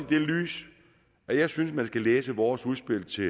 det lys jeg synes man skal læse vores udspil til